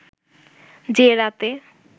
যে রাতে